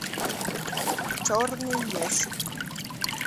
черный ящик